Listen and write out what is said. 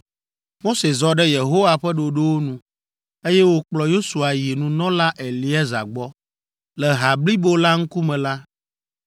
Mose zɔ ɖe Yehowa ƒe ɖoɖowo nu, eye wòkplɔ Yosua yi nunɔla Eleazar gbɔ. Le ha blibo la ŋkume la,